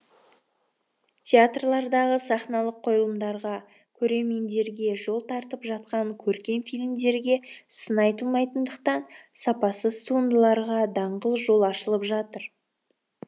театрлардағы сахналық қойылымдарға көрермендерге жол тартып жатқан көркем фильмдерге сын айтылмайтындықтан сапасыз туындыларға даңғыл жол ашылып жатыр